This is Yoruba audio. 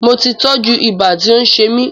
Moti tọ́jú ibà tí ó ń ṣe mí